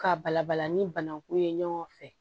K'a balabala ni banako ye ɲɔgɔn fɛ